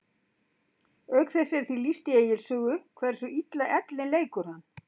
Auk þess er því lýst í Egils sögu hversu illa ellin leikur hann.